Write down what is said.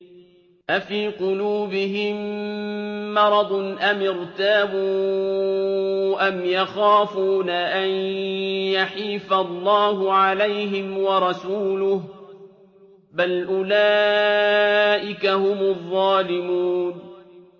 أَفِي قُلُوبِهِم مَّرَضٌ أَمِ ارْتَابُوا أَمْ يَخَافُونَ أَن يَحِيفَ اللَّهُ عَلَيْهِمْ وَرَسُولُهُ ۚ بَلْ أُولَٰئِكَ هُمُ الظَّالِمُونَ